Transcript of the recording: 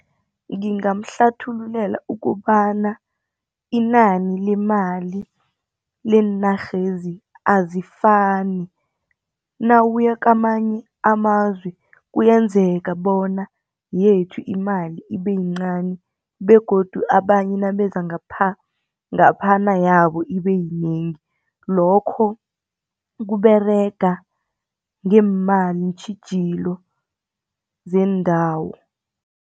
Ngingamhlathululela ukobana inani lemali leenarhezi azifani. Nawuya kamanye amazwe kuyenzeka bona yethu imali ibe yincani begodu abanye nabeza ngapha, ngaphana yabo ibe yinengi lokho kuberega ngeemali iintjhijilo zeendawo.